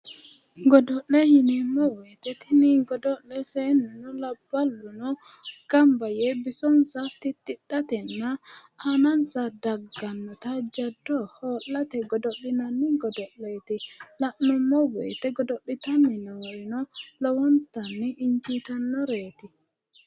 Godo'le yineemmo woyite tini godo'le seennuno labballuno gamba yee bisonsa tittidhatenna aanansa daggannota jaddo hoo'late godo'linanni godo'leeti. La'nummo woyite godo'litanni noorino lowontanni injiitannoreeti.